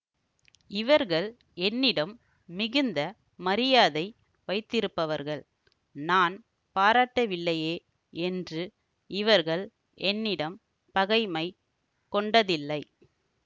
இவர்கள் என்னிடம் மிகுந்த மரியாதை வைத்திருப்பவர்கள் நான் பாராட்டவில்லையே என்று இவர்கள் என்னிடம் பகைமை கொண்டதில்லை